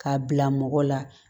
K'a bila mɔgɔ la